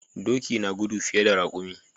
Doki na gudu fiye da raƙumi.